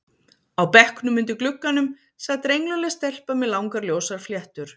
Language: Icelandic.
Á bekknum undir glugganum sat rengluleg stelpa með langar ljósar fléttur.